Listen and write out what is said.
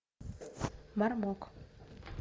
мармок